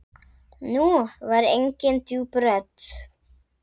Nú var engin djúp rödd.